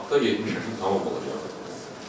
Martda 70 yaşım tamam olacaq.